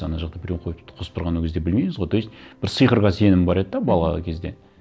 ана жақта біреу қосып тұрғанын ол кезде білмейміз ғой то есть бір сиқырға сенім бар еді де бала кезде